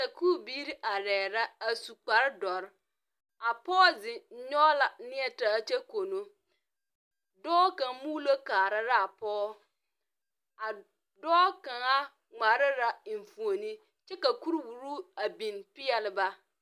Sakuu biiri arẽ la a su kpare dɔri a poɔ zeng nyugi la neɛ taa kye kono doɔ kang muulo kaaraa la a poɔ a doɔ kanga ngmaara la enfuomo kye ka kuri wura a beng peɛle ba.